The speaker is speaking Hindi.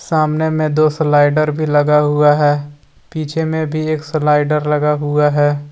सामने में दो स्लाइडर भी लगा हुआ है पीछे में भी एक स्लाइडर लगा हुआ है।